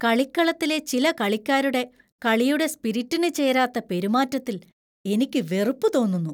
കളിക്കളത്തിലെ ചില കളിക്കാരുടെ കളിയുടെ സ്പിരിറ്റിനു ചേരാത്ത പെരുമാറ്റത്തിൽ എനിക്ക് വെറുപ്പ് തോന്നുന്നു.